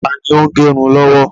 Taàní ó ń gẹrun lọ́wọ́?